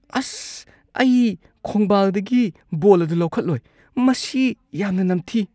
ꯑꯁ, ꯑꯩ ꯈꯣꯡꯕꯥꯜꯗꯒꯤ ꯕꯣꯜ ꯑꯗꯨ ꯂꯧꯈꯠꯂꯣꯏ꯫ ꯃꯁꯤ ꯌꯥꯝꯅ ꯅꯝꯊꯤ꯫